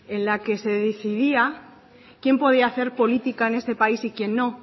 en la que se decidía quién podía hacer política en este país y quién no